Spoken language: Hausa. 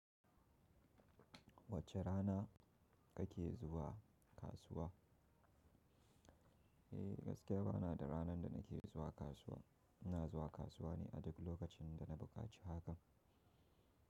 Wacce rana kake zuwa kasuwa? Eh, gaskiya ba na da ranar da nake zuwa kasuwa. Ina zuwa kasuwa ne a duk lokacin da na buƙaci hakan.